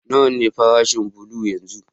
Nawa ne farashin bulo yanzu?